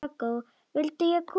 Vildi ég koma með?